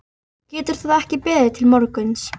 Getur það ekki beðið til morguns?